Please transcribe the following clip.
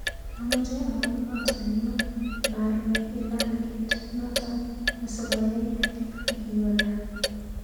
Amache aun koot nenyun narue ilaal kiit noto asigoyai agiwe gaa